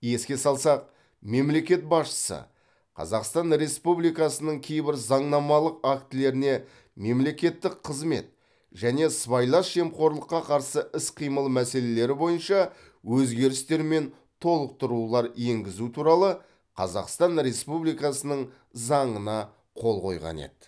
еске салсақ мемлекет басшысы қазақстан республикасының кейбір заңнамалық актілеріне мемлекеттік қызмет және сыбайлас жемқорлыққа қарсы іс қимыл мәселелері бойынша өзгерістер мен толықтырулар енгізу туралы қазақстан республикасының заңына қол қойған еді